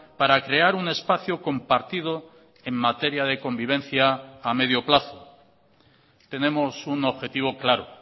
para crear un espacio compartido en materia de convivencia a medio plazo tenemos un objetivo claro